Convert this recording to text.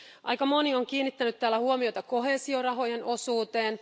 Aika moni on kiinnittänyt täällä huomiota koheesiorahojen osuuteen.